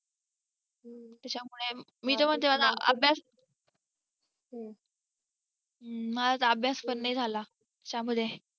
त्याच्यामुळे मी जेव्हा त्या वेळेला अभ्यास माझा तर अभ्यास पण नाही झालं त्यामुळे